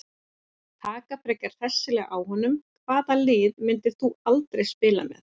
Taka frekar hressilega á honum Hvaða liði myndir þú aldrei spila með?